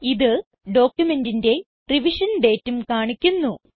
ഇത് ഡോക്യുമെന്റിന്റെ റിവിഷൻ dateഉം കാണിക്കുന്നു